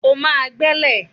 O máa gbẹ́lẹ̀!